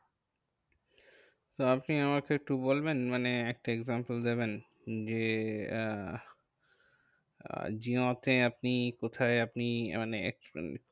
তো আপনি আমাকে একটু বলবেন মানে একটা example দেবেন? যে আহ আহ জিওতে আপনি কোথায় আপনি মানে expense